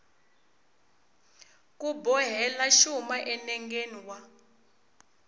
ku bohela xuma enengeni wa